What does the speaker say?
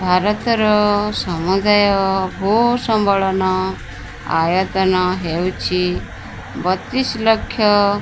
ଭାରତର ସମୁଦାୟ ଭୂ ସମ୍ବଳନ ଆୟତନ ହେଉଛି ବତିସ୍ ଲକ୍ଷ --